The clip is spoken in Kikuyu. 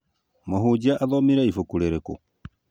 Mũhunjia athomire ibuku rĩrĩkũ